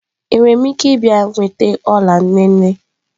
Enwere m ike ịbịa nweta ọla nne nne?